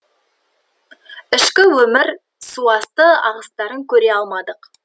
ішкі өмір суасты ағыстарын көре алмадық